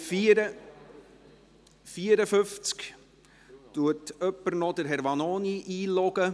Kann jemand noch Herrn Vanoni einloggen?